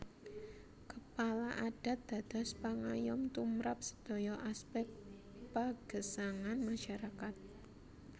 Kepala Adat dados pangayom tumrap sedaya aspek pagesangan masyarakat